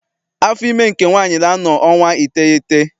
Afọ ime nke nwaanyị na-anọ ọnwa iteghete.